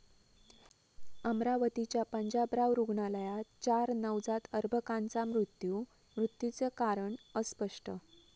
अमरावतीच्या पंजाबराव रुग्णालयात चार नवजात अर्भकांचा मृत्यू, मृत्यूचं कारण अस्पष्ट